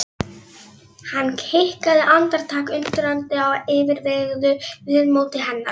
Hann hikaði andartak, undrandi á yfirveguðu viðmóti hennar.